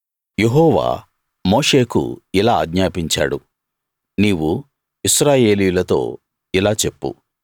యెహోవా మోషేకు ఇలా ఆజ్ఞాపించాడు నీవు ఇశ్రాయేలీయులతో ఇలా చెప్పు